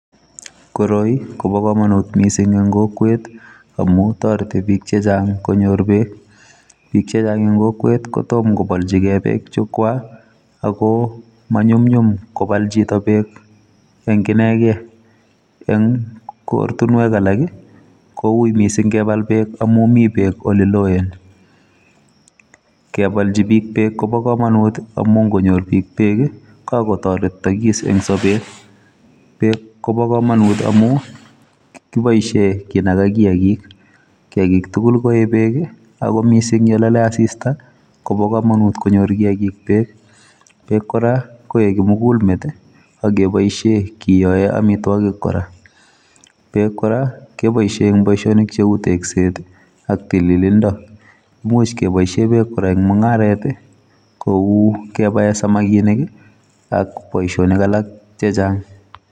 Koroi ko bo kamanut missing en missing en kokwet amuun taretii biik che chaang konyoor beek ,biik che chaang en kokwet kotomah kobaljigei beek che kwaak ako manyumnyum kobaal chitoo beek en kinegeen ,eng ortinweek alaak ii kowuit missing kebal beek amuun Mii beek ole love kebaljii biik beek koba kamanut amuun ingonyoor biik beek komuuch kotaretagis en sabeet kobaa kamanuut amuun kiboisien kinagaa kiagik tugul koyee beek ako missing yaan lale assista kobaa kamanuut konyoor kiagik beek kora en kimugul meet ak kebaisheen kiyoen amitwagiik kora ,beek kora kebaisheen en boisionik che uu tekset ak tililindoo, imuuch kebaisheen beek kora eng mungaret kou kebaen samakinik ak boisionik alaak che chaang.